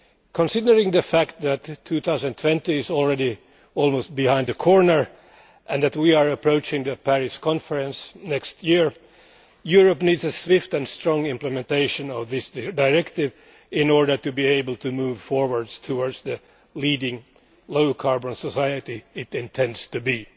Considering the fact that 2020 is already almost round the corner and that we are approaching the Paris Conference next year, Europe needs a swift and strong implementation of this directive in order to be able to move forward towards the leading low carbon society it intends to be.